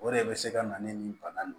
O de bɛ se ka na ni bana nin